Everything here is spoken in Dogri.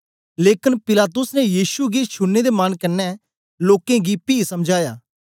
लेकन पिलातुस ने यीशु गी छुड़ने दे मन कन्ने लोकें गी पी समझाया